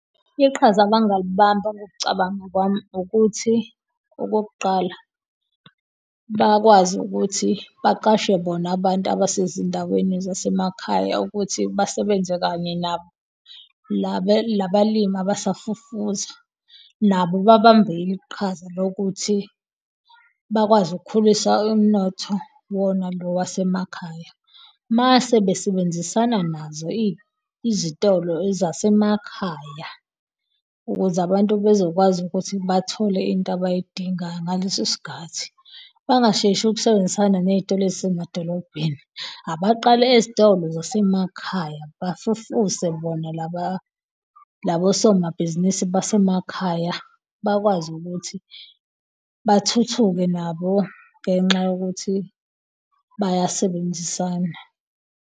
Iqhaza abangalibamba, ngokucabanga kwami ukuthi okokuqala bakwazi ukuthi baqashe bona abantu abasezindaweni zasemakhaya ukuthi basebenze kanye nabo labalimi abasafufusa nabo babambe iqhaza lokuthi bakwazi ukukhulisa umnotho wona lo wasemakhaya mase besebenzisana nazo izitolo ezasemakhaya ukuze abantu bezokwazi ukuthi bathole into abayidingayo ngaleso sikhathi bangasheshi ukusebenzisana nezitolo ezisemadolobhedeni. Abaqale ezitolo zasemakhaya bafufuse bona laba labosomabhizinisi basemakhaya bakwazi ukuthi bathuthuke nabo ngenxa yokuthi bayasebenzisana.